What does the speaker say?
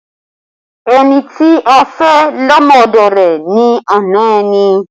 Ẹni tí a fẹ́ ọmọ lọ́dọ̀ rẹ ni ana ẹni